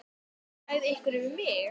sagði einhver við mig.